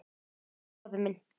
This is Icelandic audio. Bless, pabbi minn.